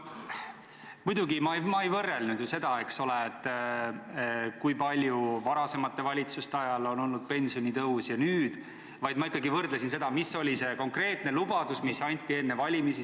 Muidugi, ma ei võrrelnud ju seda, eks ole, kui suur varasemate valitsuste ajal oli pensionitõus ja kui suur oli nüüd, vaid ma ikkagi võrdlesin sellega, mis oli konkreetne lubadus, mis anti enne valimisi.